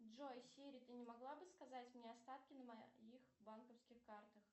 джой сири ты не могла бы сказать мне остатки на моих банковских картах